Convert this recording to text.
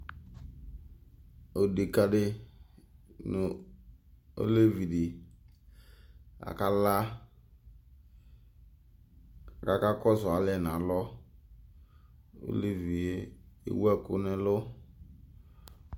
Odeka di nʋ olevi di, akala, k'aka kɔsʋ alɛ n'alɔOlevi yɛ ewu ɛkʋ n'ɛlʋ